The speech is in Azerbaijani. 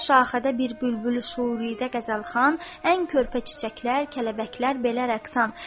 Hər şaxədə bir bülbül şüurüüdə qəzəlxan, ən körpə çiçəklər, kəpənəklər belə rəqsan.